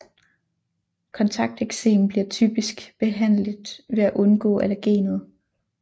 Kontakteksem bliver typisk behandligt ved at undgå allergenet